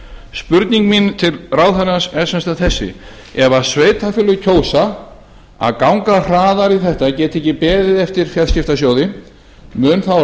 spurning mín til ráðherrans er sem sagt þessi ef sveitarfélög kjósa að ganga hraðar í þetta geta ekki beðið eftir fjarskiptasjóði mun þá